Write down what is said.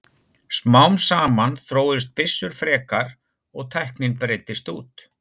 smám saman þróuðust byssur frekar og tæknin breiddist út